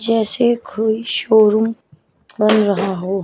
जैसे कोई शोरूम बन रहा हो।